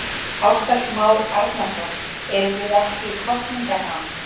Ársæll Már Arnarson: Erum við ekki í kosningaham?